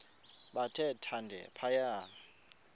bathe thande phaya